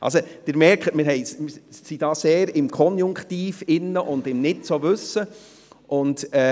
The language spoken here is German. Also, Sie sehen: Wir befinden uns hier stark im Bereich des Konjunktivs und des «Nicht-genau-Wissens».